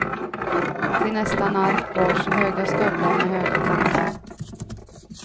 Till nästan allt bars höga stövlar med höga klackar.